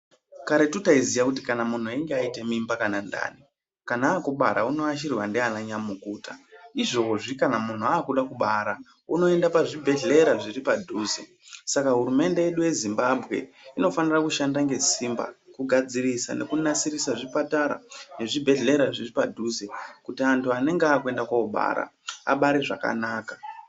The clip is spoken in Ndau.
Karetu taiziya kuti kana munhu ayita mimba kana ndani kana akubara uno yashirwa ndiana nyamukuta izvozvi kana munhu akuda kubara unoenda pa zvibhedhlera zviri pa dhuze saka hurumende yedu ye Zimbabwe inofanira kushanda nge simba ku gadzirisa neku dzarisa neku gadzirisa zvipatara ne zvi bhedhlera zviri padhuze kuti antu anenge akuenda ko bara abare zvakanaka.